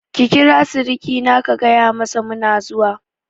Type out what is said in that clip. Ki kira sirikina ka gayamasa muna zuwa!